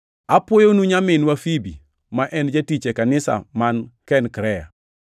Apwoyonu nyaminwa Fibi, ma en jatich e kanisa man Kenkrea.